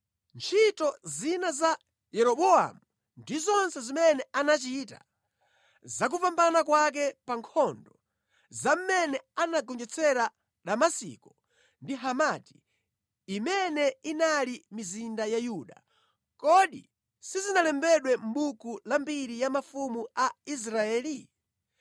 Ntchito zina za Yeroboamu ndi zonse zimene anachita, za kupambana kwake pa nkhondo, za mmene anagonjetsera Damasiko ndi Hamati, imene inali mizinda ya Yuda, kodi sizinalembedwe mʼbuku la mbiri ya mafumu a Israeli?